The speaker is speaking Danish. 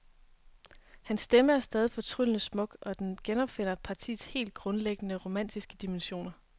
Hans stemme er stadig fortryllende smuk, og den genopfinder partiets helt grundlæggende romantiske dimensioner.